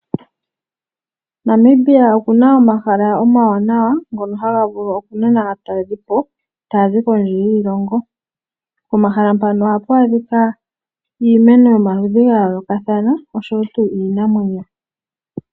Namibia okuna omahala omawanawa ngoka haga vulu okunana aataleli po tayazi kondje yiilongo. Pomahala mpaka ohapu adhika iimeno yomaludhi gayoolokathana osho wo tuu iinamwenyo.